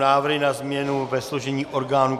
Návrh na změny ve složení orgánů